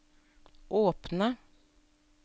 åpne